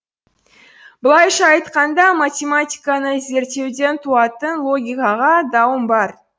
былайша айтқанда математиканы зерттеуден туатын логикаға дауым бар